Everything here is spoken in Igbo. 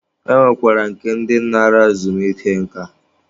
E nwekwara nke ndi nara ezumike nká.